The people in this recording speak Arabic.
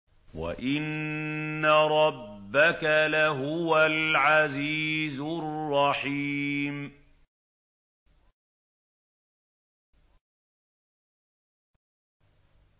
وَإِنَّ رَبَّكَ لَهُوَ الْعَزِيزُ الرَّحِيمُ